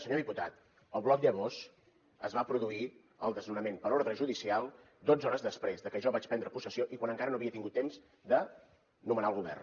senyor diputat al bloc llavors es va produir el desnonament per ordre judicial dotze hores després de que jo vaig prendre possessió i quan encara no havia tingut temps de nomenar el govern